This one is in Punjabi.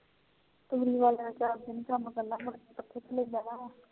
ਪਿਛਲੀ ਵਾਰ